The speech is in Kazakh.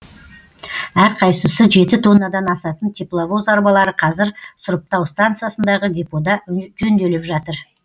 әрқайсысы жеті тоннадан асатын тепловоз арбалары қазір сұрыптау станциясындағы депода жөнделіп жатыр